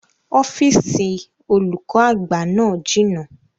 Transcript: Ọ́fìsìn olùkọ́ àgbà náà jìnà